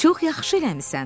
Çox yaxşı eləmisən.